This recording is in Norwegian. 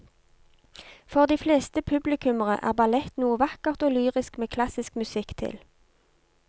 For de fleste publikummere er ballett noe vakkert og lyrisk med klassisk musikk til.